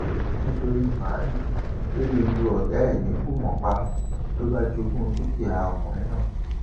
nítorí màálùú bello lu ọgá ẹ ní kùmọ pa ló bá jogún dúkìá ọkùnrin náà